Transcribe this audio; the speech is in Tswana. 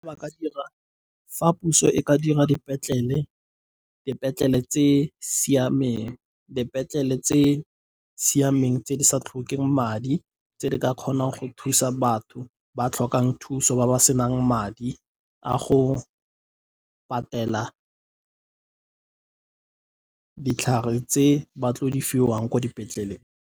Ba ka dira fa puso e ka dira dipetlele tse siameng tse di sa tlhokeng madi, tse di ka kgonang go thusa batho ba tlhokang thuso, ba ba se nang madi a go patela ditlhare tse ba tlo di fiwang ko dipetlele.